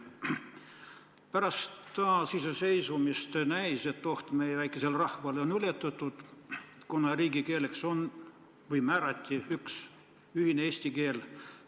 Pärast taasiseseisvumist näis, et oht meie väikesele rahvale on ületatud, sest riigikeeleks määrati üks ühine eesti keel.